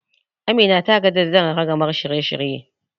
Amina ta gaji da jan ragamar shirye-shirye.